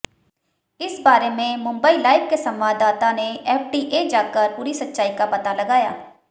इस बारे में मुंबई लाइव के संवाददाता ने एफडीए जाकर पूरी सच्चाई का पता लगाया